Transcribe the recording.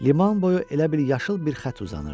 Liman boyu elə bil yaşıl bir xətt uzanırdı.